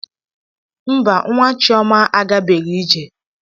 Mba, Nwa Chioma agabeghị ije.